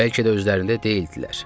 Bəlkə də özlərində deyildilər.